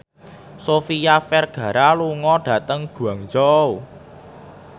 Sofia Vergara lunga dhateng Guangzhou